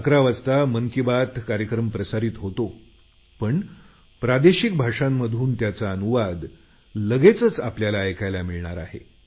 11 वाजता मन की बात कार्यक्रम प्रसारित होतो पण प्रादेशिक भाषांमधून त्याचा अनुवाद लगेचच आपल्याला ऐकायला मिळणार आहे